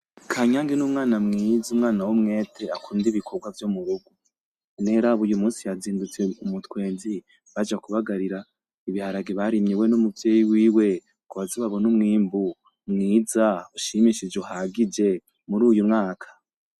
Kanyange n'umwana mwiza, umwana w'umwete akunda ibikorwa vyo murugo none raba uyu musi yazindutse kare mu mutwenzi n'umuvyeyi wiwe ngo baze babone umwimbu mwiza ushimishije uhagije muri uyu mwaka.